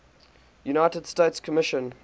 united nations commission